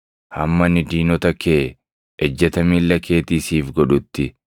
hamma ani diinota kee, ejjeta miilla keetii siif godhutti.” ’+ 20:43 \+xt Far 110:1\+xt*